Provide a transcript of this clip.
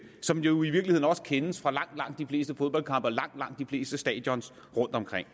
som jo i virkeligheden også kendes fra langt langt de fleste fodboldkampe og langt langt de fleste stadions rundtomkring